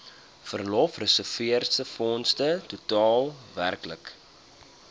verlofreserwefonds totaal werklik